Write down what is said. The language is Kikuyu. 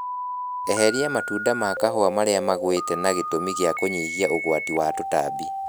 Eheria matunda ma kahũa marĩa magwite na gĩtũmi gĩa kũnyihia ũgwati wa tũtambi